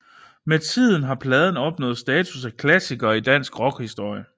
Med tiden har pladen opnået status af klassiker i dansk rockhistorie